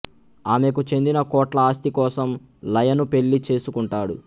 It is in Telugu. ఆమెకు చెందిన కోట్ల ఆస్తి కోసం లయను పెళ్ళి చేసుకుంటాడు